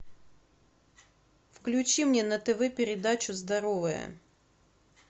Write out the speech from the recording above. включи мне на тв передачу здоровая